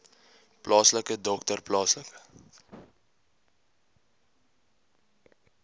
plaaslike dokter plaaslike